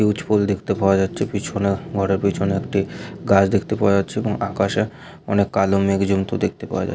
পুল দেখতে পাওয়া যাচ্ছে পিছনে ঘরের পিছনে একটি গাছ দেখতে পাওয়া যাচ্ছে এবং আকাশে অনেক কালো মেঘ জমতে দেখতে পাওয়া যা--।